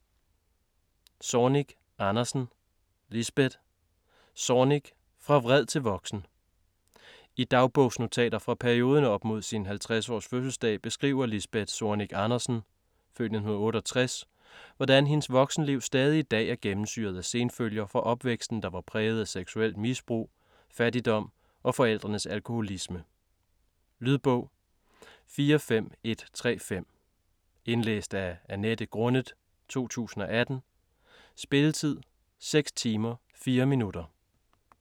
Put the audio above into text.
Zornig Andersen, Lisbeth: Zornig - fra vred til voksen I dagbogsnotater fra perioden op mod sin 50-års fødselsdag beskriver Lisbeth Zornig Andersen (f. 1968), hvordan hendes voksenliv stadig i dag er gennemsyret af senfølger fra opvæksten der var præget af seksuelt misbrug, fattigdom og forældrenes alkoholisme. Lydbog 45135 Indlæst af Annette Grunnet, 2018. Spilletid: 6 timer, 4 minutter.